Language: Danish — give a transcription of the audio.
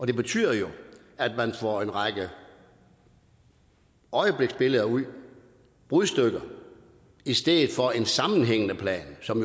det betyder jo at man får en række øjebliksbilleder ud brudstykker og i stedet for en sammenhængende plan som